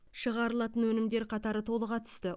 шығарылатын өнімдер қатары толыға түсті